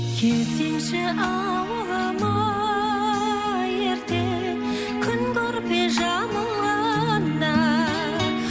келсеңші ауылыма ерте күн көрпе жамылғанда